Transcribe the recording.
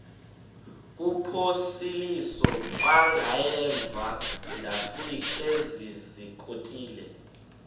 kuphosiliso kwangaemva ndafikezizikotile